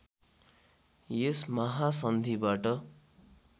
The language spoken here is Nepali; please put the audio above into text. यस महासन्धिबाट